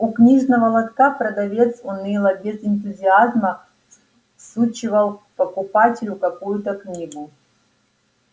у книжного лотка продавец уныло без энтузиазма всучивал покупателю какую-то книгу